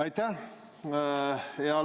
Aitäh!